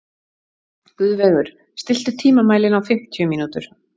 Guðveigur, stilltu tímamælinn á fimmtíu mínútur.